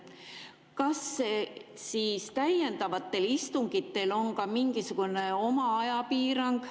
Kas siis täiendavatel istungitel on ka mingisugune ajapiirang?